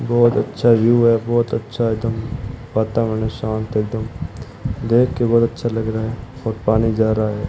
बहुत अच्छा व्यू है बहुत अच्छा एकदम वातावरण शांत एकदम देख के बहुत अच्छा लग रहा है और पानी जा रहा है।